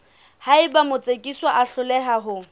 haeba motsekiswa a hloleha ho